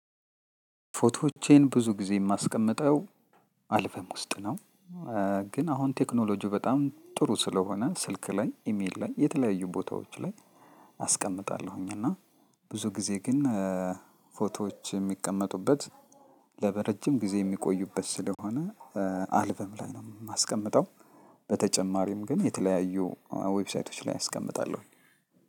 ፎቶዎቼን ብዙ ጊዜ የማስቀምጠው አልበም ውስጥ ነው። ግን አሁን ቴክኖሎጂው በጣም ጥሩ ስለሆነ ስልክ ላይ ኢሜል ላይ የተለያዩ ቦታዎች ላይ አስቀምጣለሁኝ። እና ብዙ ጊዜ ግን ፎቶዎች የሚቀመጡበት ለረጅም ጊዜ የሚቆዩበት ስለሆነ አልበም ላይ ነው የማስቀምጠው። በተጨማሪም ግን የተለያዩ ዌብሳይቶች ላይ አስቀምጣለሁ።